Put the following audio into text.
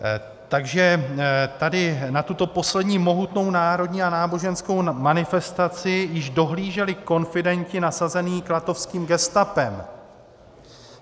Takže tady na tuto poslední mohutnou národní a náboženskou manifestaci již dohlíželi konfidenti nasazení klatovským gestapem.